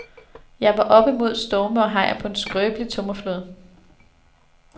Jeg var oppe mod storme og hajer på en skrøbelig tømmerflåde.